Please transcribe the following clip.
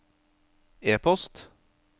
e-post